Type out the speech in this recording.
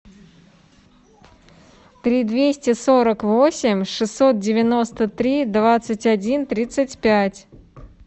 три двести сорок восемь шестьсот девяносто три двадцать один тридцать пять